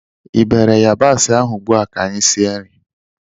iberi yabasị ahụ ugbu a ka anyị sie nri!